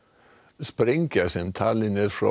sprengja sem talin er frá